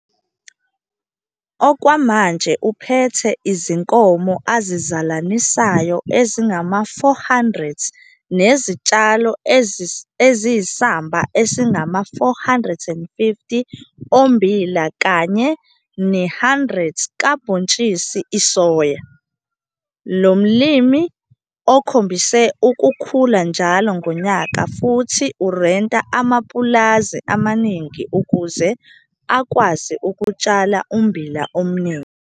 Okwamanje uphethe izinkomo azizalanisayo ezingama-400 nezitshalo eziyisamba esingama-450 ha ommbila kanye ne-100 ha kabhontshisi isoya. Lo mlimi okhombise ukukhula njalo ngonyaka futhi urenta amapulazi amaningi ukuze akwazi ukutshala ummbila omningi.